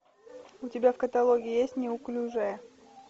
у тебя в каталоге есть неуклюжая